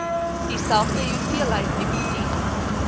dieselfde hoeveelheid nikotien